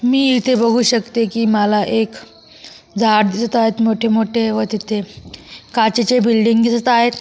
मी इथे बघू शकते की मला एक झाड दिसत आहे मोठे मोठे व तिथे काचेचे बिल्डिंग दिसत आहेत.